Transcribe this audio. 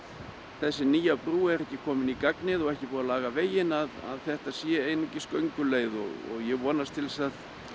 þessi nýja brú er ekki komin í gagnið og ekki búið að laga veginn að þetta sé einungis gönguleið og vonast til þess að